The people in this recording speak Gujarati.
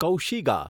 કૌશિગા